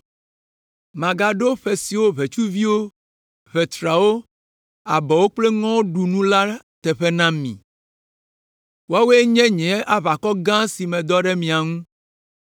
“Magaɖo ƒe siwo ʋetsuviwo, ʋetrawo, abɔwo kple ŋɔwo ɖu nu la teƒe na mi. Woawoe nye nye aʋakɔ gã si medɔ ɖe mia ŋu.